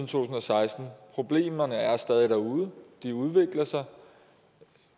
tusind og seksten problemerne er der stadig derude og de udvikler sig og